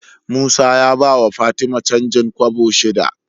Musa ya bawa fatima canjin kobo shida